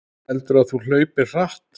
Heldurðu að þú hlaupir hratt?